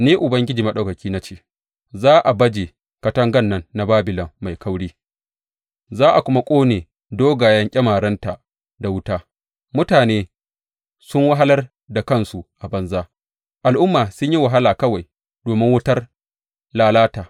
Ni Ubangiji Maɗaukaki, na ce, Za a baje katangan nan na Babilon mai kauri za a kuma ƙone dogayen ƙyamarenta da wuta; mutane sun wahalar da kansu a banza, al’umma sun yi wahala kawai domin wutar lalata.